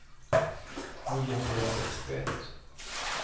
niohundrasextioett